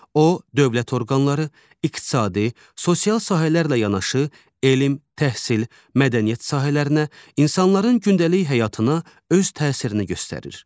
O, dövlət orqanları, iqtisadi, sosial sahələrlə yanaşı, elm, təhsil, mədəniyyət sahələrinə, insanların gündəlik həyatına öz təsirini göstərir.